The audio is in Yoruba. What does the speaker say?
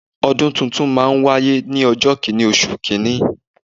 Ọdún tuntun máa n wáyé ní ọjọ́ kìnì oṣù kìíní